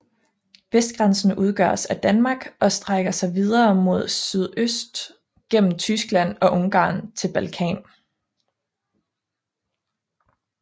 Vestgrænsen udgøres af Danmark og strækker sig videre mod sydøst gennem Tyskland og Ungarn til Balkan